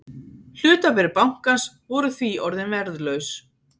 Hlutabréf bankans voru því orðin verðlaus